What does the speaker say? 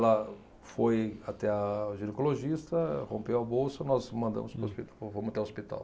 Ela foi até a ginecologista, rompeu a bolsa, nós mandamos para o hospi, fomos até o hospital.